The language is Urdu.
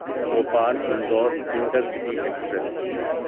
Bhopal Indore intercity express